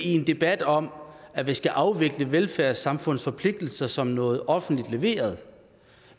i en debat om at vi skal afvikle velfærdssamfundets forpligtelser som noget offentligt leveret